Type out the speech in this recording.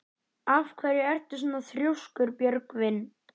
Af hverju ertu svona þrjóskur, Björgvin?